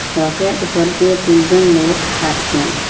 সড়কের উপর দিয়ে তিনজন লোক হাঁটছেন